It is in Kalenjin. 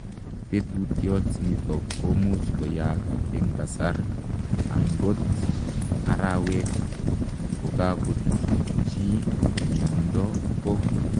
Tetutiot nitok komuch koyaak eng kasaar angot arawek kokakochuut chii miondoo ko